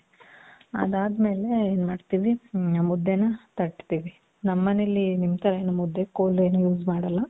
ಅದಾದ್ಮೇಲೆ ಎನ್ ಮಾಡ್ತಿವಿ ಮುದ್ದೇನ ತಟ್ಟ್ತೀವಿ. ನಮ್ಮ ಮನೇಲಿ ನಿಮ್ ಥರ ಏನು ಮುದ್ದೆ ಕೋಲ್ ಏನು use ಮಾಡಲ್ಲ .